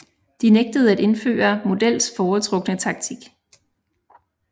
De nægtede at indføre Models foretrukne taktik